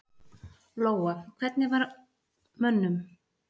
Lóa: Hvernig var mönnum við þau tíðindi?